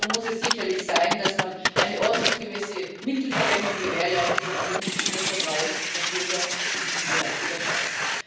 Die Stoßrichtung muss sicherlich sein, dass man eine ordnungsgemäße Mittelverwendung gewährleistet und somit das Vertrauen der Bürger in diesem Bereich wieder schafft.